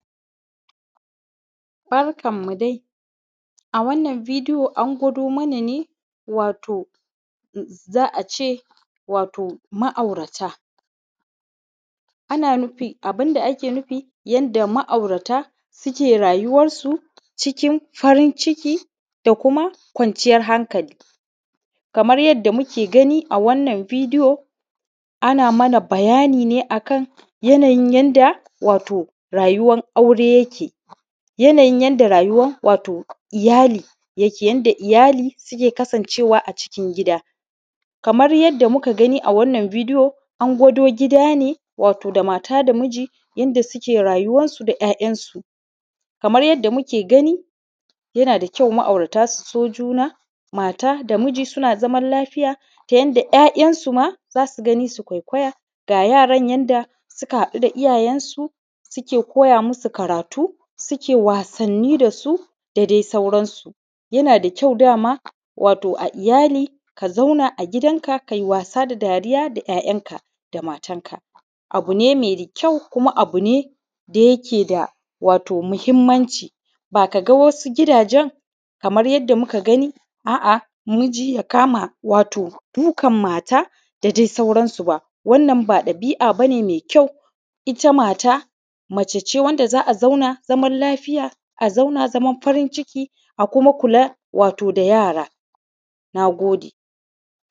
Barkan mu dai a wannan bideyon an gwado mana ne wato za’ace ma aura ta ana nufin abunda ake nufi yadda ma’aurata suke rayuwan su cikin farin ciki, da kuma kwanciyar hankali. Kaman yadda muke gani wannan bideyo ana mana bayani ne akan yana yin yadda wato rayuwan aure yake. Yanayin yadda rayuwan iyali, yadda iyyali suke kasan cewa a cikin gida. Kaman yadda muka gani a cikin wannan bideyo an gwado gida ne wato da mata da miji yadda suke rayuwansu su da ‘ya’ ‘yan’ su. Kaman yadda muke gani yana kyau ma’aurata su so juna mata da miji suna zaman lafiya ta yanda ‘ya’ ‘yan’ su ma zasu gani su kwaikwaya, ga yaran yanda suka haɗu da iyyayen su, suke koya musu karatu suke wasanni dasu da dai sauran su. ya nada kyau dama a iyyali ka zauna agidan ka kai wasa da ‘ya’ ‘yan’ ka da matan ka, abune mai kyau kuma abune da yake da wato mahimmanci. Bakaga wasu gidajen kamar yadda muka gani a’a namiji ya kama wato dukan mata da dai sauran sub a, wannan ba ɗabi’a bane mai kyau itta mata mace ce wanda za’a zauna lafiya, za’a zauna zaman farin ciki a kuma kula wato da yara. Nagode